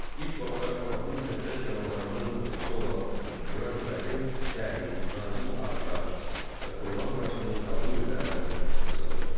İlk vaxtlar Allahın müqəddəs kəlamlarının toplusu olan Qurani-Kərim dəri, nazik ağ daş və xurma ağacının qabığı üzərinə yazılırdı.